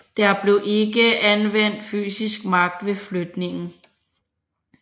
Der blev ikke anvendt fysisk magt ved flytningen